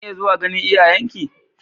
Zan iya zuwa ganin iyayenki?